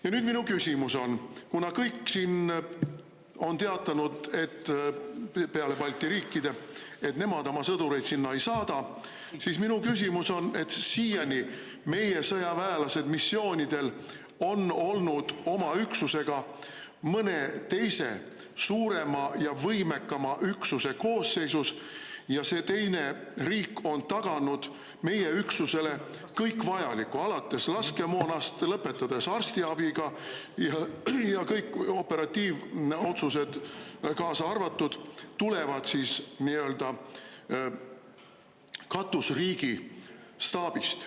Ja nüüd minu küsimus on, kuna kõik siin on teatanud – peale Balti riikide –, et nemad oma sõdureid sinna ei saada, siis minu küsimus on, et siiani meie sõjaväelased missioonidel on olnud oma üksusega mõne teise suurema ja võimekama üksuse koosseisus, ja see teine riik on taganud meie üksusele kõik vajaliku, alates laskemoonast, lõpetades arstiabiga, ja kõik operatiivotsused kaasa arvatud tulevad siis nii-öelda katusriigi staabist.